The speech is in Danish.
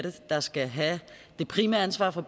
der skal have det primære ansvar for